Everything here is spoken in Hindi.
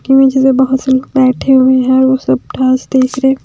की में जैसे बहोत से लोग बैठे हुए हैं और वो सब देख रहे--